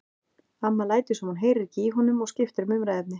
Amma lætur sem hún heyri ekki í honum og skiptir um umræðuefni.